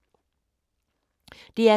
DR K